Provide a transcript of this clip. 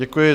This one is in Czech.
Děkuji.